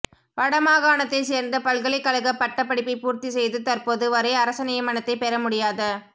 வடமாகாணத்தைச் சேர்ந்த பல்கலைக்கழகப் பட்டப் படிப்பைப் பூர்த்தி செய்து தற்போது வரை அரச நியமனத்தைப் பெற முடியாத